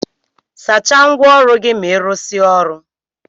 Sacha ngwa ọrụ gi ma irụsia ọrụ.